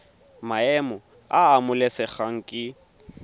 maemo a a amogelesegang ke